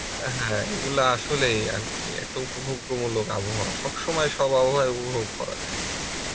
আ হ্যাঁ এই গুলো আসলেই আরকি এত উপভোগ্যমূলক আবহাওয়া সব সময় সব সব আবু হাওয়াই উপভোগ করা যায়